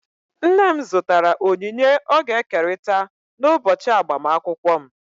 Nne m zụtara onyinye ọ ga-ekerịta n'ụbọchị agbamakwụkwọ m.